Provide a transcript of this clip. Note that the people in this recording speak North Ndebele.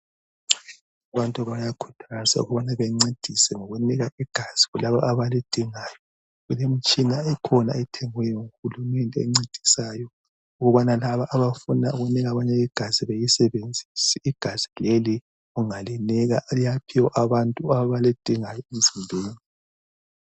Abantu bayakhuthazwa ukubana bencedise ngokunika igazi kulaba abalidingayo kulemtshina ekhona ethengiweyo nguHulumende encedisayo ukubana labo abafunda ukunika abanye igazi bayisebenzise igazi leli ungalinika liyaphiwa labo abalidingayo emzimbeni